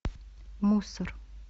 мусор